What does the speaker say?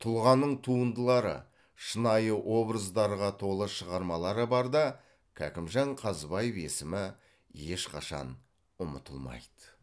тұлғаның туындылары шынайы образдарға толы шығармалары барда кәкімжан қазыбаев есімі ешқашан ұмытылмайды